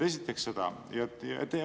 Esiteks seda.